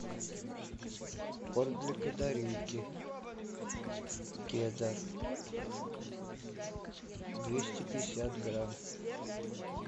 корм для канарейки кедр двести пятьдесят грамм